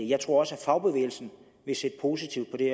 jeg tror også fagbevægelsen vil se positivt på det